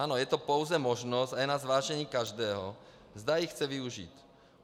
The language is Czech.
Ano, je to pouze možnost a je na zvážení každého, zda ji chce využít.